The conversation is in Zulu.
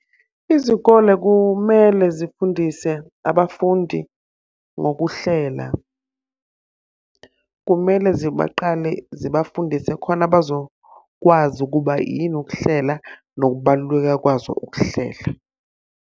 Izikole kumele zifundise abafundi ngokuhlela. Kumele zibaqale zibafundise khona bazokwazi ukuba yini ukuhlela nokubaluleka kwazo ukuhlela.